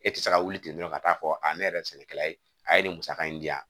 E tɛ se ka wuli ten dɔrɔn ka taa fɔ a ne yɛrɛ ye sɛnɛkɛla ye a ye nin musaka in di yan